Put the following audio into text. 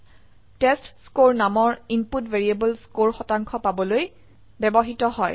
টেষ্টস্কৰে নামৰ input variable score শতাংশ পাবলৈ ব্যবহৃত হয়